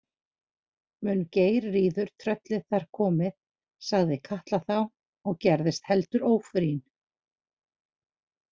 Mun Geirríður tröllið þar komin, sagði Katla þá og gerðist heldur ófrýn.